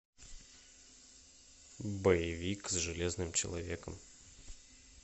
боевик с железным человеком